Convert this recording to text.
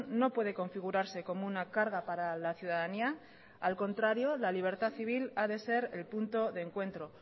no puede configurarse como una carga para la ciudadanía al contrario la libertad civil ha de ser el punto de encuentro